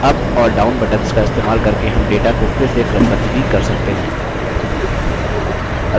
up और down buttons का इस्तेमाल करके हम data को फिर से क्रमबद्ध भी कर सकते हैं